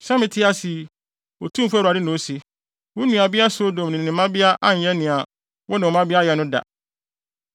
Sɛ mete ase yi, Otumfo Awurade na ose, wo nuabea Sodom ne ne mmabea anyɛ nea wo ne wo mmabea ayɛ no da.